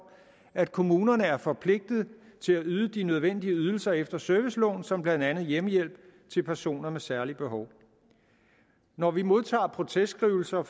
at kommunerne er forpligtede til at yde de nødvendige ydelser efter serviceloven som blandt andet hjemmehjælp til personer med særligt behov når vi modtager protestskrivelser